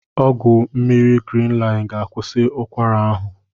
Ọgwụ mmiri Grinlin ga-akwụsi ụkwara ahụ.